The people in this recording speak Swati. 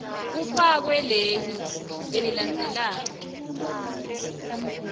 kufakwe leli lelilandzelako